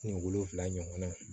Ni wolonfila ɲɔgɔn na